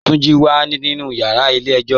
Tunji wà nínu yàrà ilẹ̀ èjò.